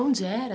Onde era?